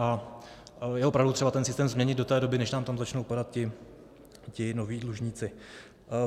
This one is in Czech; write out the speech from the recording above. A je opravdu třeba ten systém změnit do té doby, než nám tam začnou padat ti noví dlužníci.